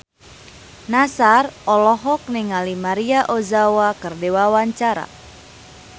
Nassar olohok ningali Maria Ozawa keur diwawancara